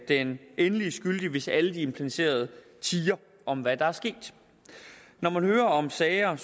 den endelige skyldige hvis alle de implicerede tier om hvad der er sket når man hører om sager